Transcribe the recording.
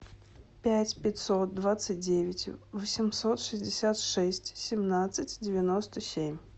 пять пятьсот двадцать девять восемьсот шестьдесят шесть семнадцать девяносто семь